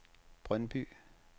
Brøndby